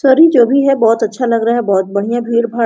चलिए जो भी है बहुत अच्छा लग रहा है बहुत बढ़िया भीड़-भाड़ --